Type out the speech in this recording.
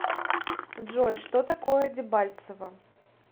джой что такое дебальцево